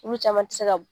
Olu caman ti se ka